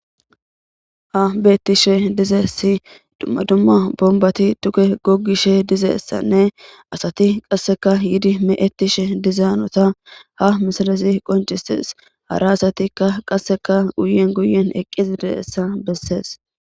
Ha beettishe dizessi dumma dumma bombati tuke gogishe dizeessanne asati qasseka yidi me7ettishe dizaanota ha misalasi qoncisees hara asatikka qasseka guyen guyen eqqisideessa bessees.